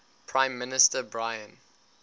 prime minister brian